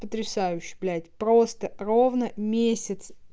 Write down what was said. потрясающе блядь просто ровно месяц